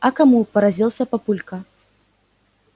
а кому поразился папулька